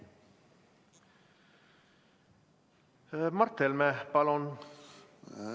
Mart Helme, palun!